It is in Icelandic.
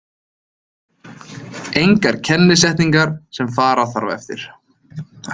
Engar kennisetningar sem fara þarf eftir.